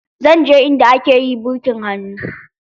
Zan je inda ake yi birkin hannu.